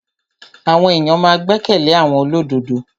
Àwọn èyàn ma n gbẹ́kẹ̀lé àwọn olódodo.